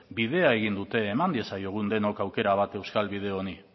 bidea egin dute eman diezaiogun denok aukera bat euskal bide honi